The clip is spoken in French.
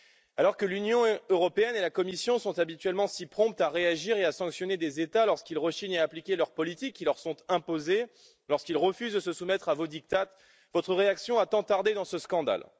Alors que l'Union européenne et la Commission sont habituellement si promptes à réagir et à sanctionner des États lorsqu'ils rechignent à appliquer leurs politiques qui leur sont imposées et lorsqu'ils refusent de se soumettre à vos diktats, leur réaction a tant tardé dans ce scandale...